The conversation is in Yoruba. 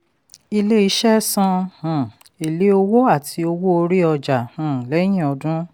ilé-iṣẹ san um ele owó àti owó orí ọjà um lẹ́yìn ọdún.